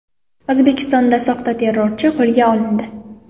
O‘zbekistonda soxta terrorchi qo‘lga olindi.